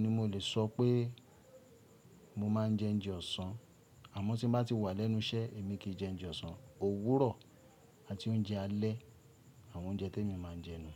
ni mo lè sọ pé mo máa ń jẹ oúnjẹ ọ̀sán. Àmọ́ tí bá ti wà lẹ́nu iṣẹ́, èmi kì í jẹ oúnjẹ ọ̀sán, òwúrọ̀ àti oúnjẹ alẹ́ àwọn oúnjẹ tí èmi máa ń jẹ nu.